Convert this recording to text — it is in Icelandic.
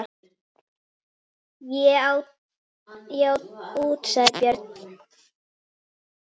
Ég á út, sagði Björn.